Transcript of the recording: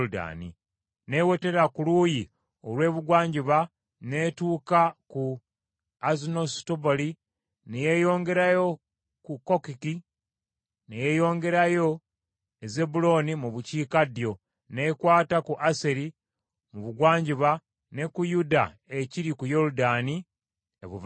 N’ewetera ku luuyi olw’ebugwanjuba n’etuuka ku Azunnosutaboli ne yeeyongerayo ku Kukkoki, ne yeeyongerayo e Zebbulooni mu bukiikaddyo, n’ekwata ku Aseri mu bugwanjuba, ne ku Yuda ekiri ku Yoludaani ebuvanjuba.